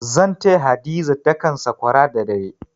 Zan taya Hadiza dakan sakwara da dare.